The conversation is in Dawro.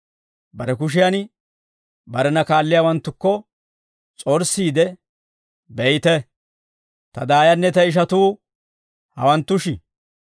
Bare kushiyan barena kaalliyaawanttukko s'orssiide, «Beyte, ta daayanne ta ishatuu hawanttushi.